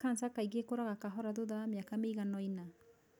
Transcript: Cancer kaingĩ ĩkũraga kahora thutha wa mĩaka mĩiganoina.